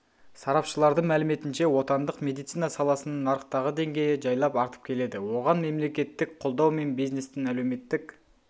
сарапшылардың мәліметінше отандық медицина саласының нарықтағы деңгейі жайлап артып келеді оған мемлекеттік қолдау мен бизнестің әлеуметтік